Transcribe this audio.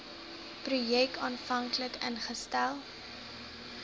projek aanvanklik ingestel